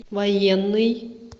военный